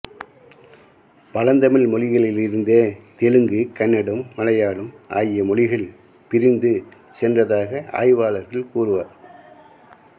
பழந்தமிழ் மொழியிலிருந்தே தெலுங்கு கன்னடம் மலையாளம் ஆகிய மொழிகள் பிரிந்து சென்றதாக ஆய்வாளர்கள் கூறுவர்